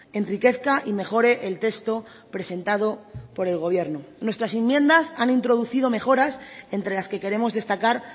enriquezca y mejore el texto presentado por el gobierno nuestras enmiendas han introducido mejoras entre las que queremos destacar